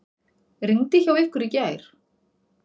Rigndi hjá ykkur í gær?